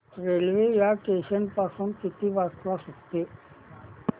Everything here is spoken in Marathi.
रेल्वे या स्टेशन पासून किती वाजता सुटते